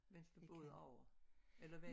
Udover eller hvad